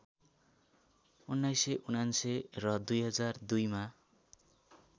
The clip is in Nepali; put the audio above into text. १९९९ र २००२ मा